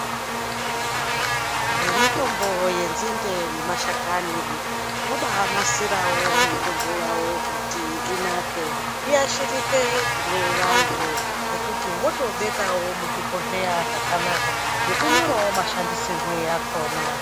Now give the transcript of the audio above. Vemitombo ye nzinde nema hlakani vobai nasirawo mitombo yavo kuti inake iyashirike kune vandu ngekuti votobekawo muzvi bhohleya zvakanaka nekunyorawo mashandisirwo yakona.